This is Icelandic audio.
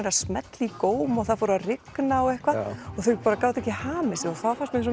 að smella í góm og það fór að rigna og eitthvað og þau bara gátu ekki hamið sig og það fannst mér svo